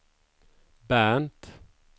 Bernt